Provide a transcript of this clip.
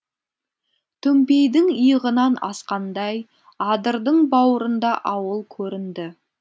төмпейдің иығынан асқандай адырдың бауырында ауыл көрінді